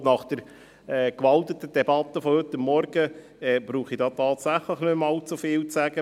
Ich glaube, nach der heute Morgen gehaltenen Debatte, brauche ich hier tatsächlich nicht mehr allzu viel zu sagen.